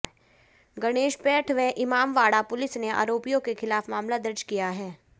गणेशपेठ व इमामवाड़ा पुलिस ने आरोपियों के खिलाफ मामला दर्ज किया है